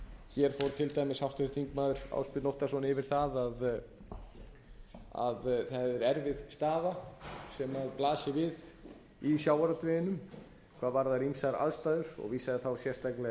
hér fór til dæmis háttvirtir þingmenn ásbjörn óttarsson yfir það að það er erfið staða sem blasir við í sjávarútveginum hvað varðar ýmsar aðstæður og vísaði þá sérstaklega